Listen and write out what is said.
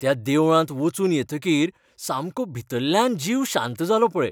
त्या देवळांत वचून येतकीर सामको भितल्ल्यान जीव शांत जालो पळय.